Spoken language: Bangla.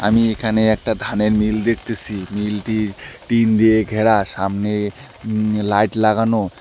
আমি এখানে একটা ধানের মিল দেখতেছি মিলটি টিন দিয়ে ঘেরা সামনে উম লাইট লাগানো।